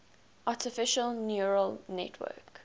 artificial neural network